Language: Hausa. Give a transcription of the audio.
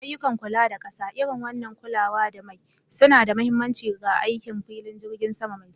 Ayyukan kula da ƙasa, irin wannan kulawa da mai, suna da mahimmanci ga aikin filin jirgin sama mai santsi.